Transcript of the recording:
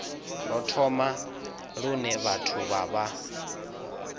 rothola lune vhathu vha vha